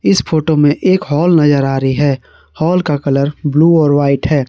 इस फोटो में एक हॉल नजर आ रही है हॉल का कलर ब्लू और व्हाइट है।